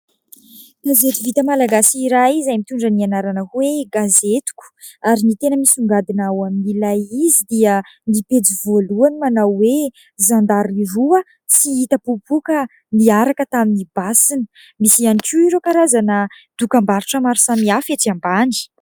Gazety vita Malagasy iray izay mitondra ny anarana hoe "Gazetiko" ary ny tena misongadina ao amin'ilay izy dia ny pejy voalohany manao hoe; "Zandary roa sy ny hita popoka niaraka tamin'ny basiny". Misy ihany koa ireo karazana dokam-barotra maro samihafa etsy ambany.